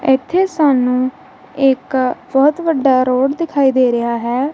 ਇੱਥੇ ਸਾਨੂੰ ਇੱਕ ਬਹੁਤ ਵੱਡਾ ਰੋਡ ਦਿਖਾਈਦ ਦੇ ਰਿਹਾ ਹੈ।